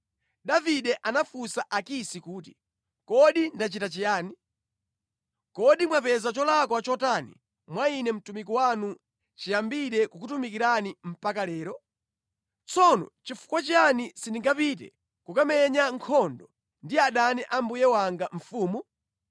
Davide anafunsa Akisi kuti, “Kodi ndachita chiyani? Kodi mwapeza cholakwa chotani mwa ine mtumiki wanu chiyambire kukutumikirani mpaka lero? Tsono chifukwa chiyani sindingapite kukamenya nkhondo ndi adani a mbuye wanga mfumu?”